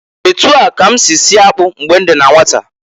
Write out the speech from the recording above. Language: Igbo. Etu a ka m si sie akpụ mgbe m dị na nwata.